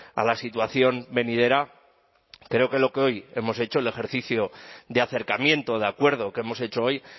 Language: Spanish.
a la situación venidera creo que lo que hoy hemos hecho el ejercicio de acercamiento de acuerdo que hemos hecho hoy